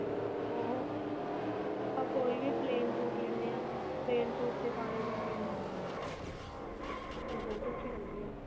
ਉਹ ਆਪਾ ਕੋਈ plane ਸੂਟ ਲਹਿੰਦੇ ਹਾਂ plane ਸੂਟ ਪਾਲੋ jacket ਨੂੰ ਤੇ ਬਹੁਤ ਅੱਛੀ ਲੱਗਦੀ ਏ